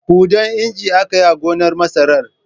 Huɗan injin aka yi a gonar masarar.